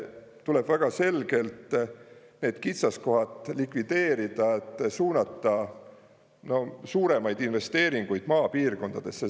Tuleb väga selgelt need kitsaskohad likvideerida, et suunata suuremaid investeeringuid maapiirkondadesse.